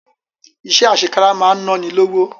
Iṣẹ́ àṣekára máa ń náni lówó